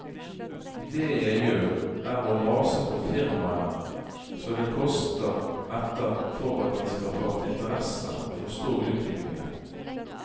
Det jeg gjør, er å mase på firmaene så det koster etter for at de skal fatte interesse og forstå utviklingen.